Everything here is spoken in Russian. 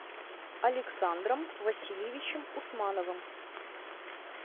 александром васильевичем усмановым